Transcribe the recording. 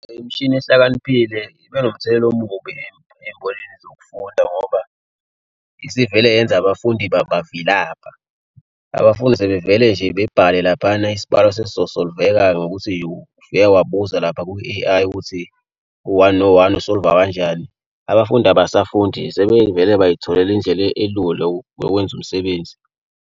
Imishini ehlakaniphile ibe nomthelela omubi embholeni zokufunda ngoba isivele yenza abafundi bavilapha. Abafuni sebevele nje bebhale laphayana isibhalo sesizo-solve-eka ngokuthi ufika wabuza lapha ku-A_I ukuthi u-one no-one usolva kanjani. Abafundi abasafunda sebevele bay'tholela indlela elula yokwenza umsebenzi.